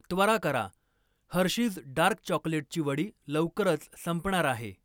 त्वरा करा, Hershey's dark चॉकलेटची वडी लवकरच संपणार आहे.